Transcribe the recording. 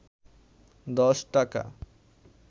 ১০ টাকা